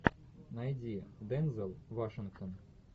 найди дензел вашингтон